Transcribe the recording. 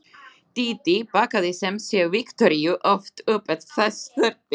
Dídí bakkaði sem sé Viktoríu oft upp ef þess þurfti.